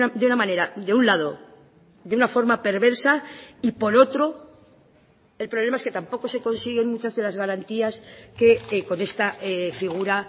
de una manera de un lado de una forma perversa y por otro el problema es que tampoco se consiguen muchas de las garantías que con esta figura